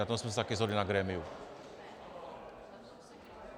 Na tom jsme se také shodli na grémiu.